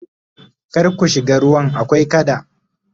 kar ku shiga ruwan akwai kada!